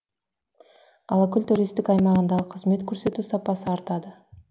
алакөл туристік аймағындағы қызмет көрсету сапасы артады